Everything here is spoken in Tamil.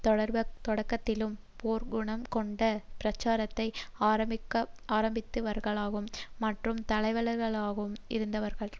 தொடக்கத்திலும் போர் குணம் கொண்ட பிரச்சாரத்தை ஆரம்பித்தவர்களாகும் மற்றும் தலைவர்களாகவும் இருந்தவர்களாவர்